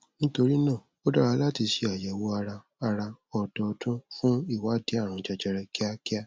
nítorí náà ó dára láti ṣe àyẹwò ara ara ọdọọdún fún ìwádìí àrùn jẹjẹrẹ kíákíá